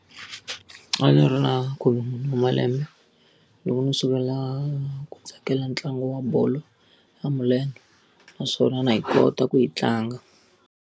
A ndzi ri na khume wa malembe loko ndzi sungula ku tsakela ntlangu wa bolo ya milenge naswona na yi kota ku yi tlanga.